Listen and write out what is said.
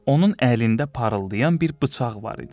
Onun əlində parıldayan bir bıçaq var idi.